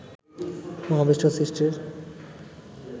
মহাবিশ্ব সৃষ্টির